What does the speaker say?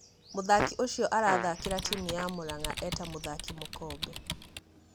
Mũthaki Ũcio arathakĩra timũ ya Muranga e ta mũthaki mũkombe.